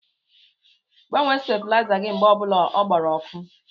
Gbanwee stabuliza gị mgbe obula ọ gbara ọkụ!!!